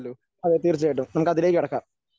അതെ തീർച്ചയായും നമുക്ക് അതിലേക്ക് കടക്കാം.